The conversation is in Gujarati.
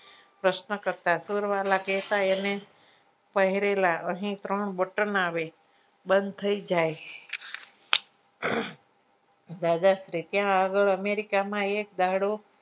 પ્રશ્ન કરતા શુર વાલા કેસા અને પહરેલા અને અહી ત્રણ બટન આવે બંધ થઈ જાય દાદાશ્રી ત્યાં આગળ america માં એક દાડો